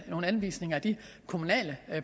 anvise nogle af de kommunale